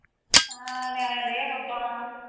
ਹਾਂ ਨਿਆਣੇ ਡੇ ਮੌਜਾਂ ਮਾਣ